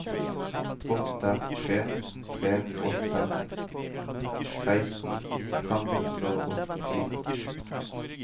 åtte tre tre åtte seksten fem hundre og åttifire